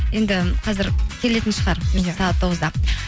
енді қазір келетін шығар бұйырса сағат тоғызда